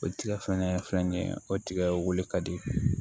O tigɛ fɛnɛ filɛ nin ye o tigɛ wuli ka di